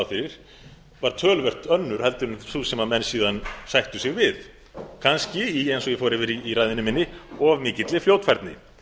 fyrir var töluvert önnur heldur en sú sem menn síðan sættu sig við kannski eins og ég fór yfir í ræðunni minni of mikilli fljótfærni